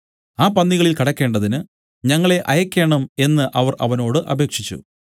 ആ പന്നികളിൽ കടക്കേണ്ടതിന് ഞങ്ങളെ അയയ്ക്കേണം എന്നു അവർ അവനോട് അപേക്ഷിച്ചു